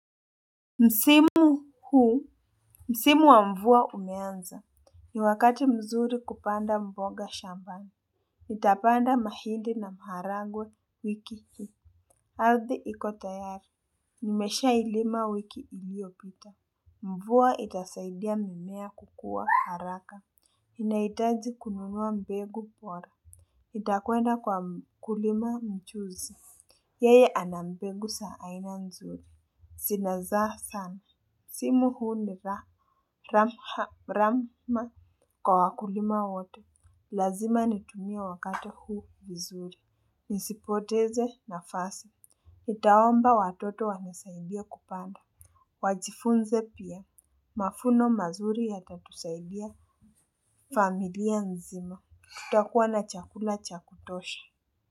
Msimu huu, msimu wa mvua umeanza, ni wakati mzuri kupanda mboga shambani, nitapanda mahidi na mharagwe wiki hii. Ardhi ikotayari, nimesha ilima wiki iliyopita, mvua itasaidia mimea kukua haraka, nahitaji kununua mbegu bora. Itakwenda kwa kulima mchuzi. Yeye ana mbegu sa aina nzuri. Sina zaa sana. Simu huu nila ramma kwa wakulima wote. Lazima nitumie wakati huu vizuri. Nisipoteze na fasi nitaomba watoto wanisaidie kupanda. Wajifunze pia mafuno mazuri ya tatusaidia familia nzima. Tutakuwa na chakula cha kutosha. Kwa hivyo.